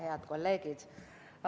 Head kolleegid!